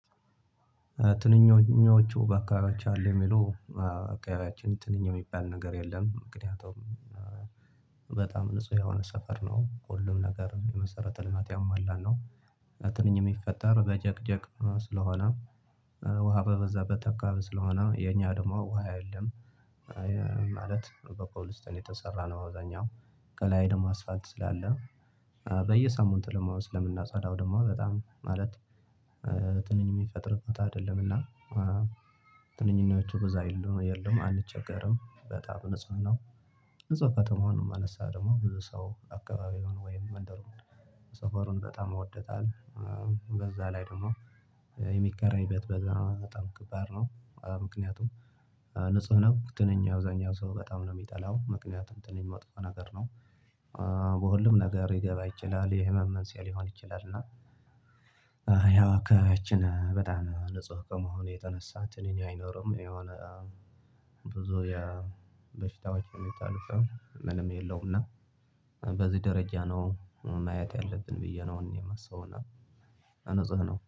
ትንኞቹ በአከካባቢያችሁ አሉ የሚሉ በአካባቢያችን ትንኝ የሚባል ነገር የለም ምክንያቱም በጣም ንጹህ የሆነ ሰፈር ነው ሁሉም ነገር መሰረተ ልማት ያሟላ ነው። የሚፈጠረው በጀግጀግ ስለሆነ ውሃ በበዛበት አካባባ ስለሆነ የኛ ደግሞ ውሃ የለም። ማለት በኮብልስቶን የተሰራ ነው አብዛኛው ከላይ ደግሞ አስፓልት ስላለ በየሳምንቱ ደሞ ስለምናፀዳው ደግሞ በጣም ማለት ትንኝ የሚፈጥር ቦታ አይደለምና። ትንኝዎቹ በዛ የሉም አንቸገርም በጣም ንጹህ ነው። ንጹህ እዛው ከተማው ነው የማነሳው ደግሞ ብዙ ሰው አካባቢውን ወይም መንደሩን ሰፈሩን በጣም ወዶታል። በዛ ላይ ደግሞ የሚከራይ ቤት በዛ በጣም ከባድ ነው ምክንያቱም ነው ትንኝ አብዛኛው ሰው በጣም ነው የሚጠላው ምክንያቱም ትንኛው መጥፎ ነገር ነው። በሁሉም ነገር ሊገባ ይችላል የህመም መንስኤ ሊሆን ይችላል። እና ያው አካባቢያችን በጣም ንጹህ ከመሆኑ የተነሳ ትንኝ አይኖርም። የሆነ ብዙ የበሽታዎች የሚታልፈን ምንም የለውም። እና በዚህ ደረጃ ነው ማየት ያለብን ብዬ ነው የማስበው እና ንጽህ ነው